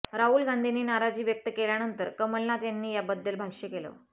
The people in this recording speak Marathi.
राहुल गांधींनी नाराजी व्यक्त केल्यानंतर कमलनाथ यांनी याबद्दल भाष्य केलं